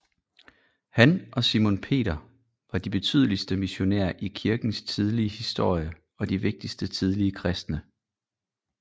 Han og Simon Peter var de betydeligste missionærer i kirkens tidlige historie og de vigtigste tidlige kristne